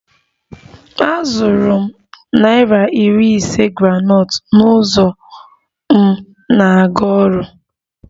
Azụrụ m naira iri ise groundnut n'ụzọ m na-aga ọrụ